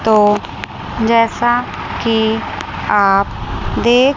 तो जैसा कि आप देख--